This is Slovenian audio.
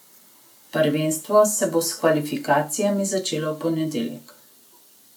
Prvenstvo se bo s kvalifikacijami začelo v ponedeljek.